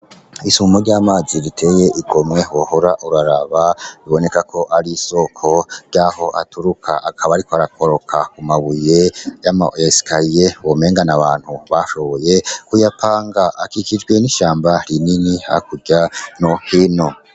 Isumo ry'amazi riteye igomwe wohora uraraba biboneka ko ari isoko ryaho aturuka akaba ariko arakoroka ku mabuye y'amesikariye womenga n'abantu bashoboye kuyapanga akikijwe n'ishamba rinini hakurya no hino.